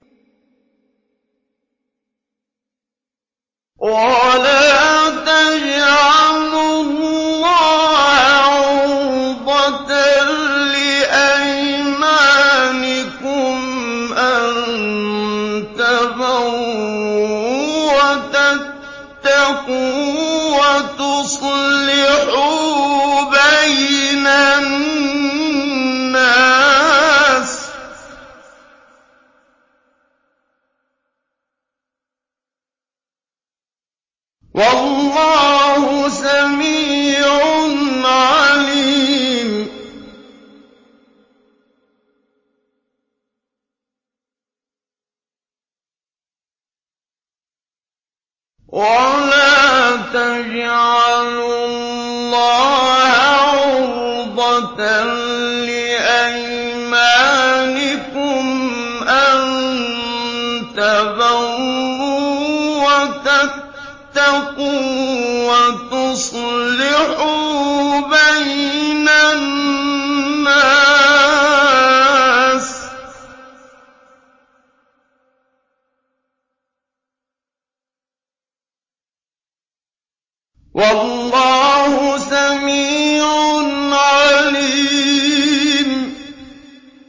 وَلَا تَجْعَلُوا اللَّهَ عُرْضَةً لِّأَيْمَانِكُمْ أَن تَبَرُّوا وَتَتَّقُوا وَتُصْلِحُوا بَيْنَ النَّاسِ ۗ وَاللَّهُ سَمِيعٌ عَلِيمٌ